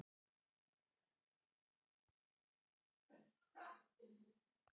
En hann vissi líka að tíminn var ekki mikill og vildi því hraða sér.